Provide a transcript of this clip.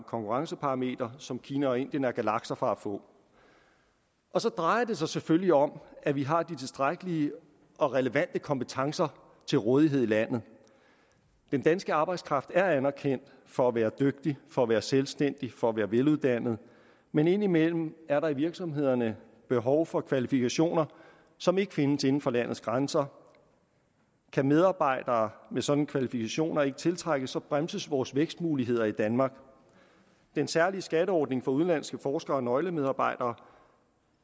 konkurrenceparameter som kina og indien er galakser fra at få så drejer det sig selvfølgelig om at vi har de tilstrækkelige og relevante kompetencer til rådighed i landet den danske arbejdskraft er anerkendt for at være dygtig for at være selvstændig og for at være veluddannet men indimellem er der i virksomhederne behov for kvalifikationer som ikke findes inden for landets grænser og kan medarbejdere med sådanne kvalifikationer ikke tiltrækkes bremses vores vækstmuligheder i danmark den særlige skatteordning for udenlandske forskere og nøglemedarbejdere